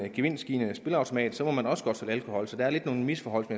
en gevinstgivende spilleautomat må man også godt sælge alkohol så der er lidt nogle misforhold